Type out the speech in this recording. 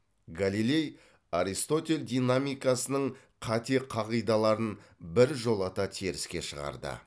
галилей аристотель динамикасының қате қағидаларын біржолата теріске шығарды